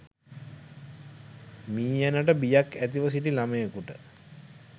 මීයනට බියක් ඇතිව සිටි ළමයකුට